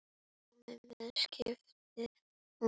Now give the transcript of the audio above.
Komiði með! skipaði hún.